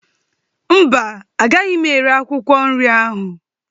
Mba, agaghị m ere akwụkwọ nri ahụ